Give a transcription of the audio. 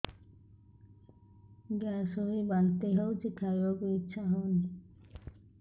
gas ହୋଇ ବାନ୍ତି ହଉଛି ଖାଇବାକୁ ଇଚ୍ଛା ହଉନି